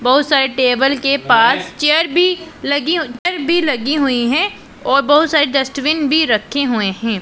बहुत सारी टेबल के पास चेयर भी लगी चेयर भी लगी हुई है और बहुत सारे डस्टबिन भी रखे हुए है।